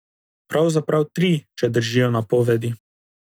Pravzaprav tri, če držijo napovedi.